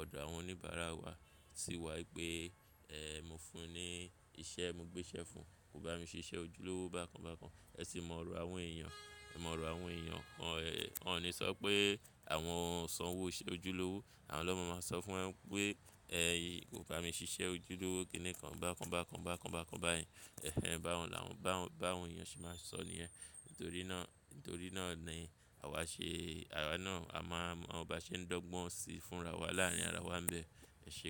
ọ̀dọ̀ àwọn oníbàárà wa sí wa pé mo fún un ní iṣẹ́, mo gbé iṣẹ́ fún ùn, kò bá mi ṣe iṣẹ́ ojúlówó bákan bákan. Ẹ sì mọ ọ̀rọ̀ àwọn èèyàn, ẹ mọ̀ ọ̀rọ̀ àwọn èèyàn. Wọ́n wọ́n ò ní sọ pé àwọn san owó iṣẹ́ ojúlówó. Àwọn loma máa ń sọ fún wa n pé "o bá mi ṣe iṣẹ́ ojúlówó kiní kan bákan bákan bákan bákan báyìí." Báwo làwọn èèyàn ṣe máa ń sọ níyẹn. Nítorí náà ni àwa ṣe àwa máa mọ̀ bó ṣe ń dángbọ́n si fúnra wa láàárín àwa ń bẹ. Ẹ̀ṣé.